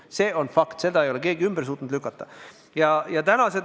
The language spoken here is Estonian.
See on fakt, seda ei ole keegi suutnud ümber lükata.